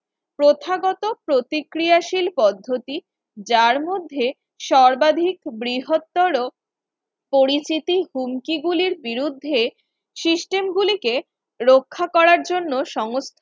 প্রথাগত প্রতিক্রিয়াশীল পদ্ধতি যার মধ্যে সর্বাধিক বৃহত্তর পরিস্থিতির হুমকি গুলির বিরুদ্ধে system গুলিকে রক্ষা করার জন্য সং